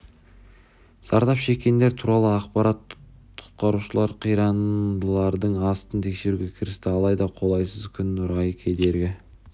зардап шеккендер туралы ақпарат жоқ құтқарушылар қирандылардың астын тексеруге кірісті алайда қолайсыз күн райы кедергі